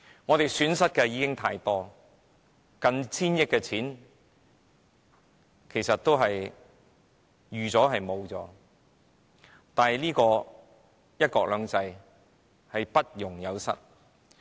我們已經蒙受太多的損失，近千億元的公帑其實亦已預期將要付出，但"一國兩制"卻不容有失。